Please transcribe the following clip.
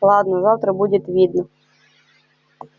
ладно завтра будет видно